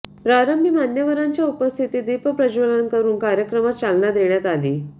प्रारंभी मान्यवरांच्या उपस्थितीत दीपप्रज्वलन करून कार्यक्रमास चालना देण्यात आली